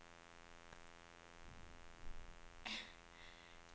itläs det